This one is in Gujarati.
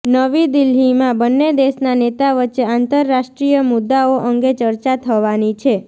નવી દિલ્હીમાં બન્ને દેશના નેતા વચ્ચે આતંરરાષ્ટ્રીય મુદાઓ અંગે ચર્ચા થવાની છે